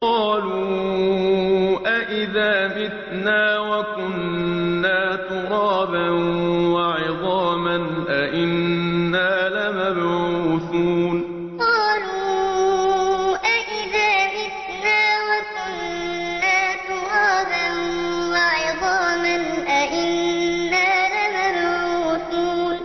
قَالُوا أَإِذَا مِتْنَا وَكُنَّا تُرَابًا وَعِظَامًا أَإِنَّا لَمَبْعُوثُونَ قَالُوا أَإِذَا مِتْنَا وَكُنَّا تُرَابًا وَعِظَامًا أَإِنَّا لَمَبْعُوثُونَ